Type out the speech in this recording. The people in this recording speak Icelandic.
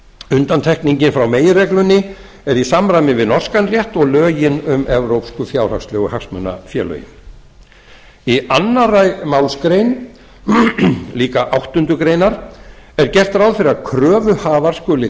undantekningin frá meginreglunni er í samræmi við norskan rétt og lögin um evrópsku fjárhagslegu hagsmunafélögin í annarri málsgrein átta greinar er gert ráð fyrir að kröfuhafar skuli